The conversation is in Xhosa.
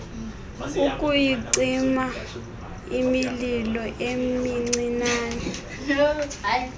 ukuyicima imililo emincinane